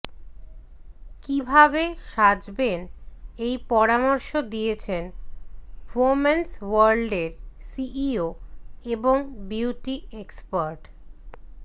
কীভাবে সাজবেন সেই পরামর্শ দিয়েছেন ওমেন্স ওয়ার্ল্ডের সিইও এবং বিউটি এক্সপার্ট